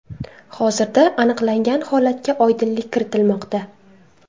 Hozirda aniqlangan holatga oydinlik kiritilmoqda.